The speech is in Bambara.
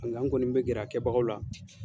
Nga n kɔni bɛ gɛrɛ a kɛbagaw la.